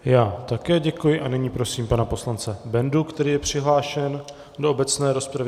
Já také děkuji a nyní prosím pana poslance Bendu, který je přihlášen do obecné rozpravy.